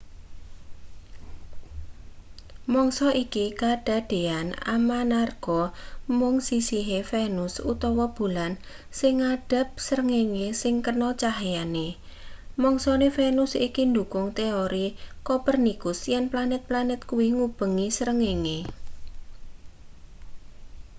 mangsa iki kadadeyan amanarga mung sisihe venus utawa bulan sing ngadhep srengenge sing kena cahyane. mangsane venus iki ndhukung teori kopernikus yen planet-planet kuwi ngubengi srengenge